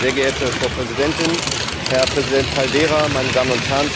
Frau Präsidentin, Herr Präsident Caldeira, meine Damen und Herren!